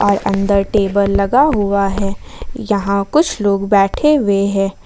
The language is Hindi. और अंदर टेबल लगा हुआ है यहां कुछ लोग बैठे हुए हैं।